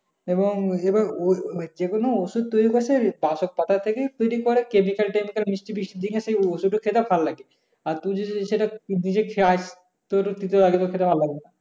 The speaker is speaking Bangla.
এবং এবার ওর যেকোন মানে যে কোন ঔষধ তৈরী করছে ওই বাসের পাতা থেকেই তৈরী করে chemical-temical মিষ্ট-ফিস্টি ঠিক আছে ঔষধ ও খেতে ভালো লাগে। আর তুই যদি সেটা বুঝে খাস